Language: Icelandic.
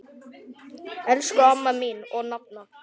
Elsku amma mín og nafna.